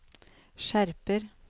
skjerper